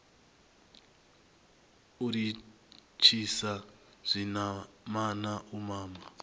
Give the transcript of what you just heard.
u litshisa zwinamana u mama